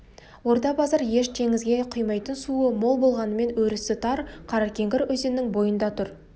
орда-базар еш теңізге құймайтын суы мол болғанымен өрісі тар қаракеңгір өзенінің бойында тұр